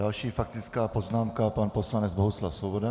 Další faktická poznámka, pan poslanec Bohuslav Svoboda.